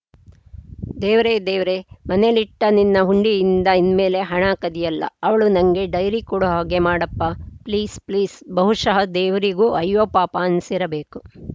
ದೇವ್ರೆ ದೇವ್ರೆ ಮನೇಲಿ ಇಟ್ಟನಿನ್ನ ಹುಂಡಿಯಿಂದ ಇನ್ಮೆಲೆ ಹಣ ಕದಿಯಲ್ಲ ಅವಳು ನಂಗೆ ಡೈರಿ ಕೊಡೋ ಹಾಗೆ ಮಾಡಪ್ಪ ಪ್ಲೀಸ್‌ಪ್ಲೀಸ್‌ ಬಹುಶಃ ದೇವ್ರಿಗೂ ಅಯ್ಯೋ ಪಾಪ ಅನ್ನಿಸಿರಬೇಕು